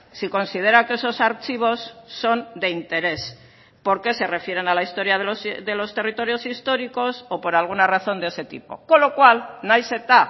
si considera que esos archivos son de interés porque se refieren a la historia de los territorios históricos o por alguna razón de ese tipo con lo cual nahiz eta